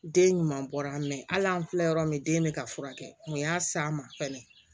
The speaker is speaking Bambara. Den ɲuman bɔra ali an filɛ yɔrɔ min den bɛ ka furakɛ mɛ u y'a s'a ma fɛnɛ